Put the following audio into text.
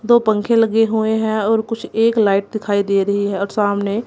दो पंखे लगे हुए हैं और कुछ एक लाइट दिखाइ दे रही है और सामने--